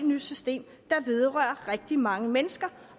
nyt system der vedrører rigtig mange mennesker